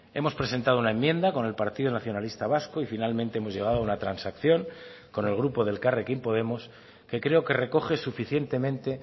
hemos presentado una enmienda con el partido nacionalista vasco y finalmente hemos llegado a una transacción con el grupo de elkarrekin podemos que creo que recoge suficientemente